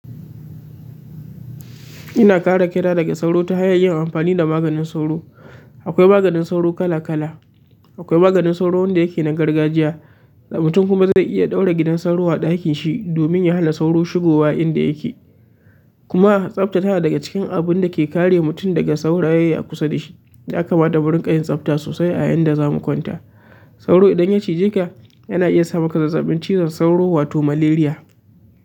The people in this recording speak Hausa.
Ina kare kai nadaga sauro ta hanyar yin amfani da maganin sauro. Akwai maganin sauro kala kala. Akwai maganin sauro wanda yake na gargajiya, da mutum kuma zai iya ɗaura gidan sauro a ɗakin shi domin ya hana sauro shigowa inda yake. Kuma tsafta tana daga cikin abun da take kare mutum daga sauraye a kusa da shi. Ya kamata murinka yin tsafta sosai a inda za mu kwanta. Sauro idan ya ciji ka, yana iya sa muka zazzaɓin cizon sauro wato malaria.